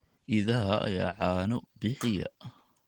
Idaha ayaa caano bixiya.